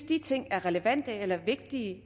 de ting er relevante eller vigtige